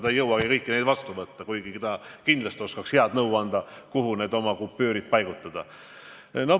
Ta ei jõua ju kõiki neid vastu võtta, kuigi ta kindlasti oskaks anda head nõu, kuhu oma kupüürid paigutada.